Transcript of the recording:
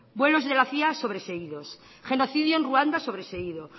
vuelos de la cia sobreseídos genocidio en ruanda sobreseído